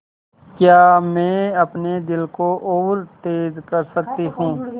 क्या मैं अपने दिल को और तेज़ कर सकती हूँ